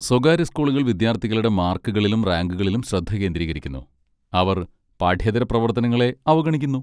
സ്വകാര്യ സ്കൂളുകൾ വിദ്യാർത്ഥികളുടെ മാർക്കുകളിലും റാങ്കുകളിലും ശ്രദ്ധ കേന്ദ്രീകരിക്കുന്നു, അവർ പാഠ്യേതര പ്രവർത്തനങ്ങളെ അവഗണിക്കുന്നു.